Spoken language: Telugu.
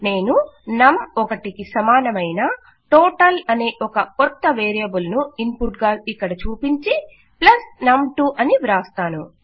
నేను నమ్ 1 కు సమానమయిన టోటల్ అనే ఒక కొత్త వేరియబుల్ ను ఇన్పుట్ గా ఇక్కడ చూపించి ప్లస్ నమ్ 2 అని వ్రాస్తాను